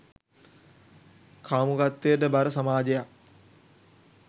කාමුකත්වයට බර සමාජයක්